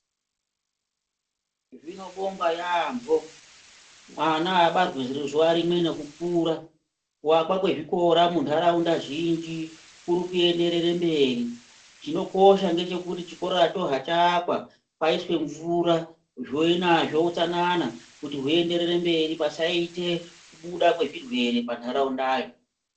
Zvinobongwa yampho mwana abarwi zuwa rimwe ngekukura. Kuwakwa kwezvikora muntharaunda zhinji kuri kuenderere mberi. Chinokosha ngechekuti chikoracho hachaakwa paiswe mvura zvovena zvoutsananana zvienderere mberi pasaita kubuda kwezvirwere muntharaundayo.